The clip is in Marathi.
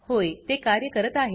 होय ते कार्य करत आहे